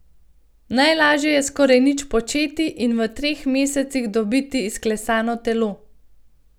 Najlažje je skoraj nič početi in v treh mesecih dobiti izklesano telo.